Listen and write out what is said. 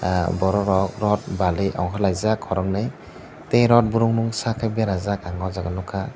ahh borok rok rot bali kalaijak korokni tei rot broom saka berajaka aw jaaga nugkha.